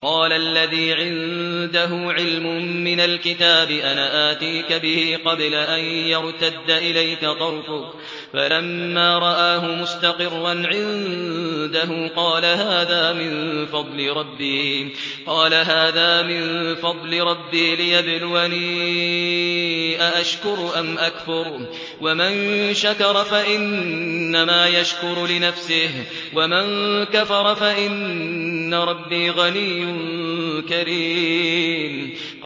قَالَ الَّذِي عِندَهُ عِلْمٌ مِّنَ الْكِتَابِ أَنَا آتِيكَ بِهِ قَبْلَ أَن يَرْتَدَّ إِلَيْكَ طَرْفُكَ ۚ فَلَمَّا رَآهُ مُسْتَقِرًّا عِندَهُ قَالَ هَٰذَا مِن فَضْلِ رَبِّي لِيَبْلُوَنِي أَأَشْكُرُ أَمْ أَكْفُرُ ۖ وَمَن شَكَرَ فَإِنَّمَا يَشْكُرُ لِنَفْسِهِ ۖ وَمَن كَفَرَ فَإِنَّ رَبِّي غَنِيٌّ كَرِيمٌ